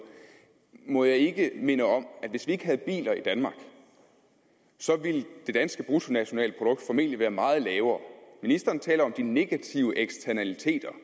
må jeg ikke minde om at hvis vi ikke havde biler i danmark ville det danske bruttonationalprodukt formentlig være meget lavere ministeren taler om de negative eksternaliteter